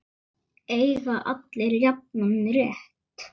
Eiga allir jafnan rétt?